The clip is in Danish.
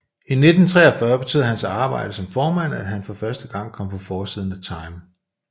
I 1943 betød hans arbejde som formand at han for første gang kom på forsiden af Time